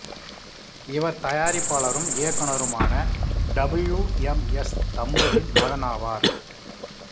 இவர் தயாரிப்பாளரும் இயக்குனருமான டபிள்யூ எம் எஸ் தம்புவின் மகன் ஆவார்